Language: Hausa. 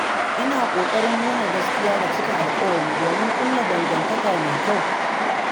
Ina ƙoƙarin nuna gaskiya da cika alƙawura domin ƙulla dangantaka mai kyau.